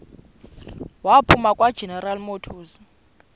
waphuma kwageneral motors